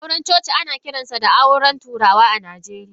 Auren coci ana kiransa auren turawa a Najeriya.